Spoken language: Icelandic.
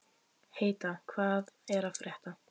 Heida, hvað er að frétta?